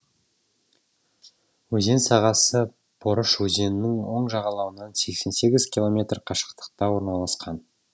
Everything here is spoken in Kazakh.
өзен сағасы порыш өзенінің оң жағалауынан сексен сегіз километр қашықтықта орналасқан